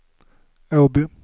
Åby